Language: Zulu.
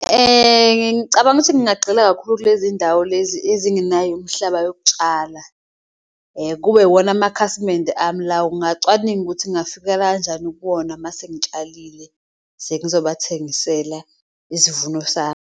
Ngicabanga ukuthi ngingagxila kakhulu kulezi ndawo lezi ezingenayo imihlaba yokutshala, kube iwona amakhasimende ami lawo, ngacwaninga ukuthi ngingafikela kanjani kuwona. Mase ngitshalile sengizobathengisela isivuno sami.